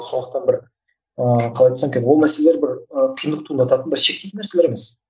сондықтан бір ііі қалай айтсам екен ол мәселелер бір і қиындық туындататын бір шектейтін нәрселер емес